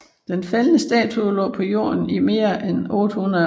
Den faldne statue lå på jorden i mere end 800 år